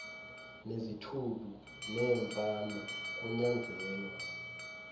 nezithulu neemfama kunyanzelwa